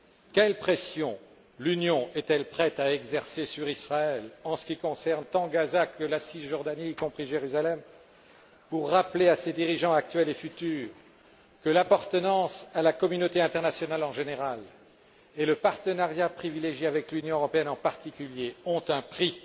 Quelles pressions l'Union est elle prête à exercer sur Israël en ce qui concerne tant Gaza que la Cisjordanie, y compris Jérusalem, pour rappeler à ses dirigeants actuels et futurs que l'appartenance à la communauté internationale en général, et le partenariat privilégié avec l'Union européenne en particulier, ont un prix,